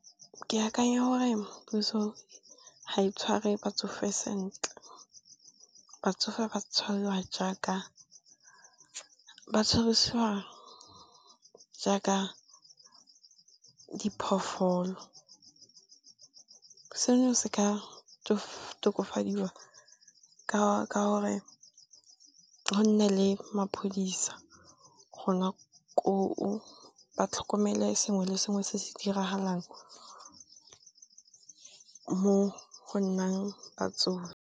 Ke akanya gore puso ga e tshware batsofe sentle, batsofe ba tshwarisiwa jaaka diphoofolo. Seno se ka tokafadiwa ka gore go nne le maphodisa gona koo ba tlhokomele sengwe le sengwe se se diragalang mo go nnang batsofe.